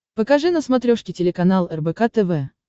покажи на смотрешке телеканал рбк тв